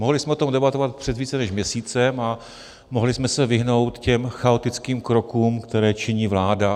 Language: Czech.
Mohli jsme o tom debatovat před více než měsícem a mohli jsme se vyhnout těm chaotickým krokům, které činí vláda.